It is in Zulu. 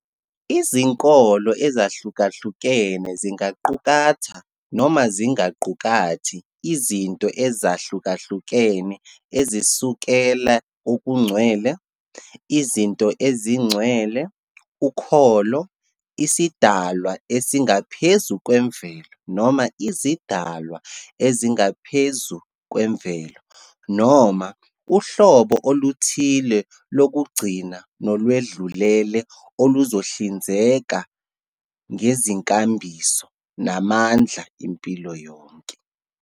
Izinkolo ezahlukahlukene zingaqukatha noma zingaqukathi izinto ezahlukahlukene ezisukela kokungcwele, izinto ezingcwele, ukholo, isidalwa esingaphezu kwemvelo noma izidalwa ezingaphezu kwemvelo noma "uhlobo oluthile lokugcina nolwedlulele oluzohlinzeka ngezinkambiso namandla impilo yonke".